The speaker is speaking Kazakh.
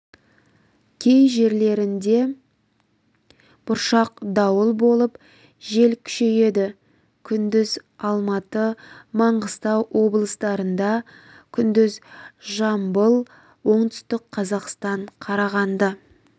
кей жерлерінде бұршақ дауыл болып жел күшейеді күндіз алматы маңғыстау облыстарында күндіз жамбыл оңтүстік-қазақстан қарағанды